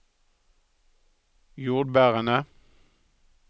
jordbærene